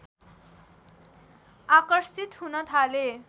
आकर्षित हुन थाले